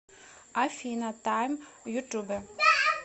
афина тайм ютуб